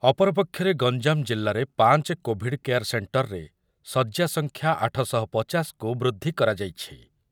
ଅପରପକ୍ଷରେ ଗଞ୍ଜାମ ଜିଲ୍ଲାରେ ପାଞ୍ଚେ କୋଭିଡ଼୍ କେୟାର ସେଣ୍ଟରରେ ଶଯ୍ୟା ସଂଖ୍ୟା ଆଠ ଶହ ପଚାଶ କୁ ବୃଦ୍ଧି କରାଯାଇଛି।